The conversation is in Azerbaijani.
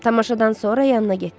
Tamaşadan sonra yanına getdim.